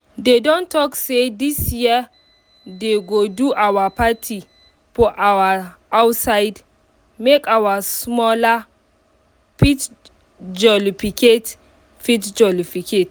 they don talk say this year they go do our party for outside make our smalla fit jolificate fit jolificate